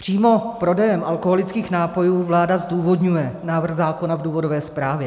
Přímo prodejem alkoholických nápojů vláda zdůvodňuje návrh zákona v důvodové zprávě.